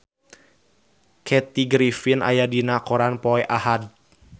Kathy Griffin aya dina koran poe Ahad